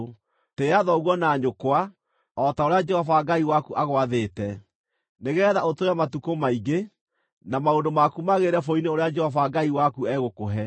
“Tĩĩa thoguo na nyũkwa o ta ũrĩa Jehova Ngai waku agwathĩte, nĩgeetha ũtũũre matukũ maingĩ, na maũndũ maku magĩrĩre bũrũri-inĩ ũrĩa Jehova Ngai waku egũkũhe.